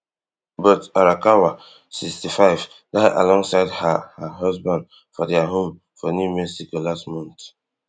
but arakawa sixty-five die alongside her her husband for dia home for new mexico last month